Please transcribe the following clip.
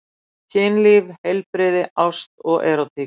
Kynlíf, heilbrigði, ást og erótík.